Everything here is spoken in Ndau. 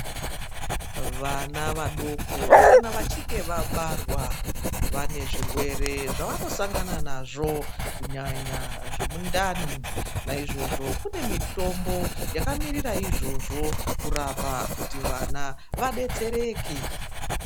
Vana vadoko kana vachinge vabarwa vane zvirwere zvavanosangana nazvo kunyanya zvemundani. Naizvozvo kune mitombo yakamirira izvozvo kurapa kuti vana vadetsereke.